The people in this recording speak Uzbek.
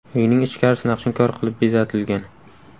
Uyning ichkarisi naqshinkor qilib bezatilgan.